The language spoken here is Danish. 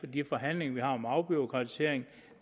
de forhandlinger vi har om afbureaukratisering